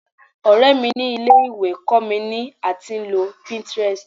ọrẹ mi ni ilé ìwé kó mi ni a ti nlo pinterest